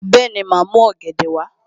Bẹ́ẹ̀ni, màá mú ọ̀gẹ̀dẹ̀ wá